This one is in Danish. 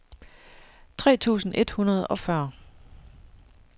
tre tusind et hundrede og fyrre